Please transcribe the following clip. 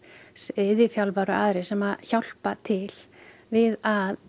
iðjuþjálfar og aðrir sem hjálpa til við að